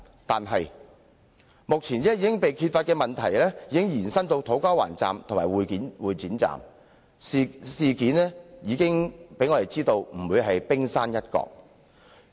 可是，目前被揭發的問題，已經延伸至土瓜灣站和會展站，我們已知的事件只是冰山一角。